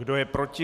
Kdo je proti?